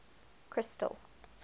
crystal